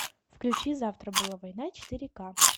включи завтра была война четыре ка